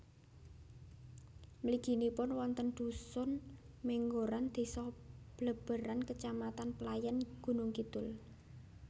Mliginipun wonten dhusun Menggoran désa Bleberan kecamatan Playèn Gunungkidul